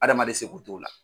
Adamaden seko t'o la.